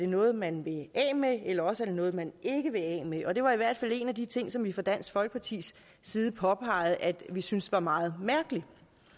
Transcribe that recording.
noget man vil af med eller også være noget man ikke vil af med det var i hvert fald en af de ting som vi fra dansk folkepartis side påpegede at vi syntes var meget mærkeligt